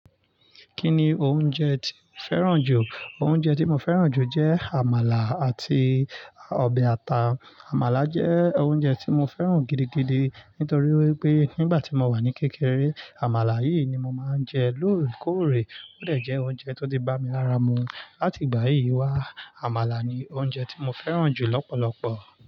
Kí ni oúnjẹ tí o fẹ́ràn jù? Oúnjẹ tí mo fẹ́ràn jù jẹ́ àmàlà àti ọbẹ̀ ata. Àmàlà jẹ́ oúnjẹ tí mo fẹ́ràn gidigidi nítorí pé nígbà tí mo wà ní kékeré, àmàlà yìí ni mo máa ń jẹ lóòrèkóòrè. Ó dè jẹ́ oúnjẹ tó ti bá mi lára mu. Láti ìgbà yìí wá, àmàlà ni oúnjẹ tí mo fẹ́ràn jù lọ́pọ̀lọpọ̀.